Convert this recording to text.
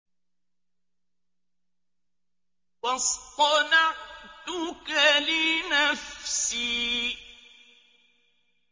وَاصْطَنَعْتُكَ لِنَفْسِي